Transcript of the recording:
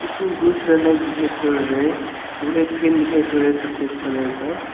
बहुत सारा लाइट दिखाई पड़ रहा है और एक फेन दिखाई पड़ रहा है सफेद कलर का।